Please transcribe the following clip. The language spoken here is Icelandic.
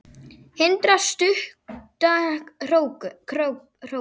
Hindrar stutta hrókun.